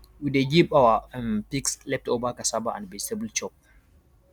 we dey give our um pigs leftover cassava and vegetable chop